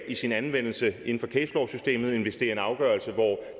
i sin anvendelse inden for case law systemet end hvis det er en afgørelse hvor